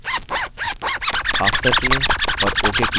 after चुनें और ok click करें